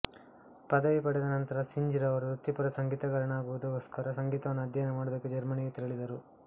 ಪದವಿ ಪಡೆದ ನಂತರ ಸಿಂಜ್ ರವರು ವೃತ್ತಿಪರ ಸಂಗೀತಗಾರನಾಗುವುದಕ್ಕೋಸ್ಕರ ಸಂಗೀತವನ್ನು ಅಧ್ಯಯನ ಮಾಡುವುದಕ್ಕೆ ಜರ್ಮನಿಗೆ ತೆರಳಿದರು